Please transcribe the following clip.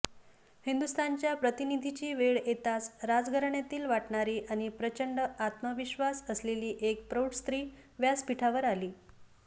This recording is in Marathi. हिंदुस्थानच्या प्रतिनिधीची वेळ येताच राजघराण्यातील वाटणारी आणि प्रचंड आत्मविश्वास असलेली एक प्रौढ स्त्री व्यासपिठावर आली